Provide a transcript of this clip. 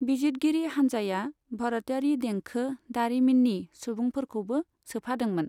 बिजितगिरि हानजाया भर'तयारी देंखो दारिमिननि सुबुंफोरखौबो सोफादोंमोन।